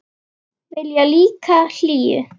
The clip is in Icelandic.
Vilja líka hlýju.